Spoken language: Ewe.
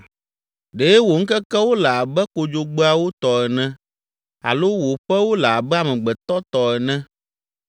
Ɖe wò ŋkekewo le abe kodzogbeawo tɔ ene alo wò ƒewo le abe amegbetɔ tɔ ene,